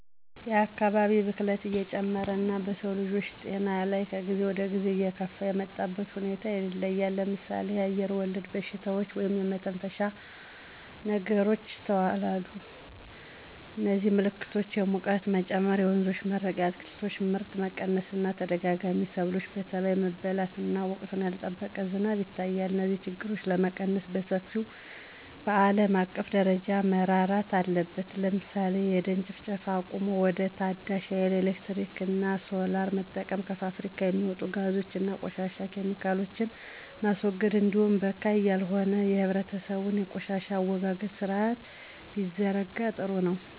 የአካባቢ ብክለት እየጨመረ እና በሰውልጆች ጤና ላይ ከጊዜ ወደጊዜ እየከፋ የመጣበት ሁኔታ ይታያል ለምሳሌ አየርወለድ በሽታዎች (የመተንፈሻ ችግሮች) ይስተዋላሉ የዚህም ምልክቶች የሙቀት መጨመር የወንዞች መድረቅ የአትክልቶች ምርት መቀነስ እና ተደጋጋሚ ሰብሎች በተባይ መበላት እና ወቅቱን ያልጠበቀ ዝናብ ይታያል። እነዚህን ችግሮች ለመቀነስ በሰፊው በአለም አቀፍ ደረጃ መረራት አለበት ለምሳሌ የደን ጭፍጨፋ አቁሞ ወደ ታዳሽ ሀይል ኤሌክትሪክ እና ሶላር መጠቀም። ከፋብሪካ የሚወጡ ጋዞች እና ቆሻሻ ኬሚካሎችን ማስወገድ እንዲሁም በካይ ያልሆነ የህብረተሰቡ የቆሻሻ አወጋገድ ስርአት ቢዘረጋ ጥሩ ነው።